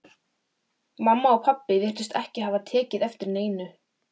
Mamma og pabbi virtust ekki hafa tekið eftir neinu.